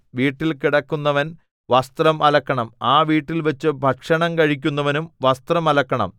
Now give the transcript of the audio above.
വീട്ടിൽ കിടക്കുന്നവൻ വസ്ത്രം അലക്കണം ആ വീട്ടിൽ വച്ചു ഭക്ഷണം കഴിക്കുന്നവനും വസ്ത്രം അലക്കണം